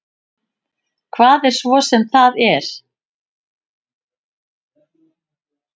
Hvað svo sem það er.